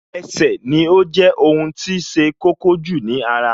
Ẹsẹ̀ ni ó jẹ́ ohun tí ṣe kókó jù ní ara